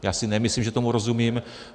Já si nemyslím, že tomu rozumím.